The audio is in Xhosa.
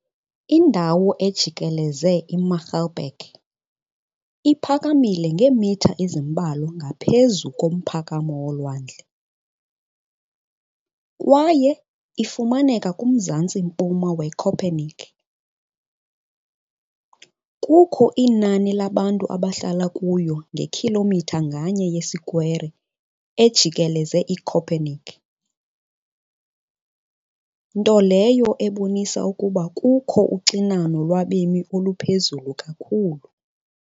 Kinahabogang dapit sa palibot ang Müggelberge, ka metros ni kahaboga ibabaw sa dagat, km sa habagatan-sidlakan sa Köpenick. Dunay mga ka tawo kada kilometro kwadrado sa palibot sa Köpenick may kaayo hilabihan populasyon..